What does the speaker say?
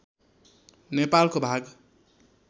नेपालको भाग